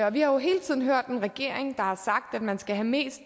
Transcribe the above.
og vi har jo hele tiden hørt en regering der har sagt at man skal have mest